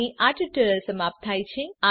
અહીં આ ટ્યુટોરીયલ સમાપ્ત થાય છે